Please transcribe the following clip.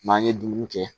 N'an ye dumuni kɛ